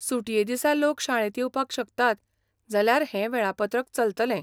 सुटये दिसा लोक शाळेंत येवपाक शकतात जाल्यार हें वेळापत्रक चलतलें.